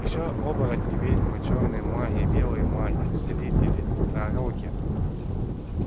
ещё оборотни ведьмы чёрные маги белые маги целители пророки